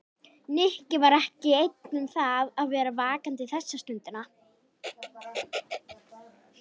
Nikki var ekki einn um það að vera vakandi þessa stundina.